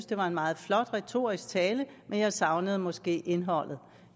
det var en meget flot retorisk tale men jeg savnede måske indholdet